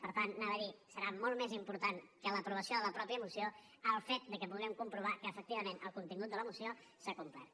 per tant ho anava a dir serà molt més important que l’aprovació de la mateixa moció el fet que puguem comprovar que efectivament el contingut de la moció s’ha complert